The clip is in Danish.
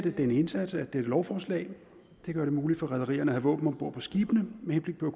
af denne indsats er dette lovforslag det gør det muligt for rederierne at have våben om bord på skibene med henblik på